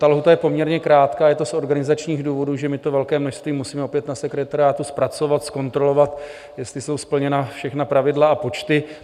Ta lhůta je poměrně krátká, je to z organizačních důvodů, že my to velké množství musíme opět na sekretariátu zpracovat, zkontrolovat, jestli jsou splněna všechna pravidla a počty.